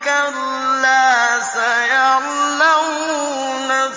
كَلَّا سَيَعْلَمُونَ